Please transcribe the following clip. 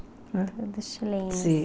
Todos chilenos. Sim